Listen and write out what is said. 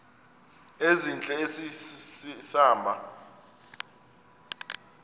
ezintle esi hamba